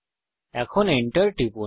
এখন Enter টিপুন